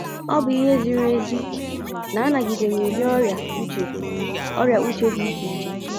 ọ bụ ihe ziri ezi na anagidere ụdị ọrịa uche ọrịa uche dị iche iche.